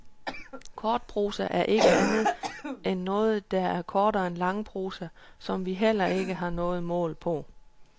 Kortprosa er ikke andet end noget, der er kortere end langprosa, som vi heller ikke har noget mål på.